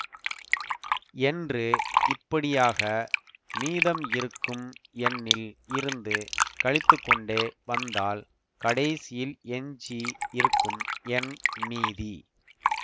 என்று இப்படியாக மீதம் இருக்கும் எண்ணில் இருந்து கழித்துக்கொண்டே வந்தால் கடைசியில் எஞ்சி இருக்கும் எண் மீதி